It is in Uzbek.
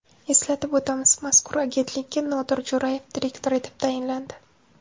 Eslatib o‘tamiz, mazkur agentlikka Nodir Jo‘rayev direktor etib tayinlandi .